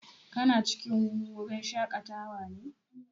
Kana cikin wurin shaƙatawa ne?